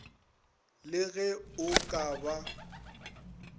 le ge o ka ba